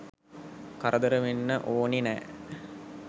කරදර වෙන්න ඕනෙ නෑ.